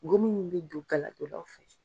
Gomin min bi don galadonnaw fɛ.